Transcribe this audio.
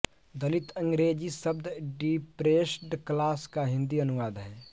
दलित अंग्रेज़ी शब्द depressed class का हिन्दी अनुवाद है